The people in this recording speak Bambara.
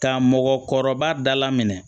Ka mɔgɔkɔrɔba da la minɛ